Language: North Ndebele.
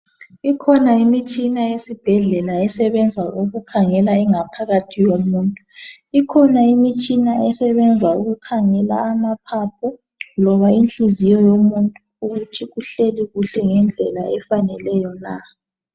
Ikhona imitshina yesibhedlela esebenza ukukhangela ingaphakathi yomuntu. Ikhona imitshina esebenza ukukhangela amaphapho loba inhliziyo yomuntu ukuthi kuhleli kuhle ngendlela efaneleyo na.